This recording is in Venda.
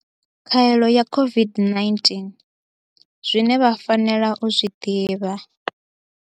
Khaelo ya COVID-19, zwine vha fanela u zwi ḓivha.